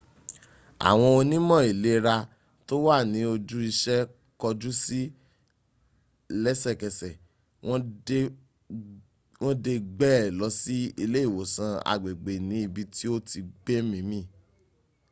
àwọn onímọ̀ ìlera tó wà ní ojú iṣẹ́ kọjú sí lẹ́sẹ̀kësẹ̀ wọ́n dẹ̀ gbée lọ sí ilé ìwòsàn agbègbè ní ibí tí o ti gbẹ́mímì